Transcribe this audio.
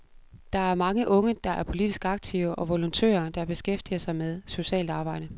Der er mange unge, der er politisk aktive, og volontører, der beskæftiger sig med socialt arbejde.